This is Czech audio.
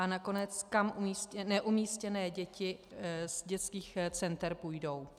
A nakonec, kam neumístěné děti z dětských center půjdou.